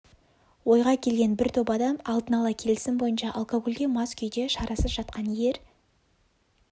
ойға келген бір топ адам алдын ала келісім бойынша алкогольге мас күйде шарасыз жатқан ер